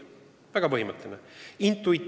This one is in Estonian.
See väga põhimõtteline küsimus!